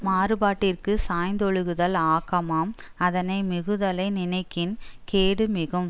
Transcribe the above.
மாறுபாட்டிற்கு சாய்தொழுகுதல் ஆக்கமாம் அதனை மிகுதலை நினைக்கின் கேடு மிகும்